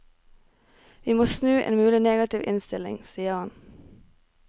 Vi må snu en mulig negativ innstilling, sier han.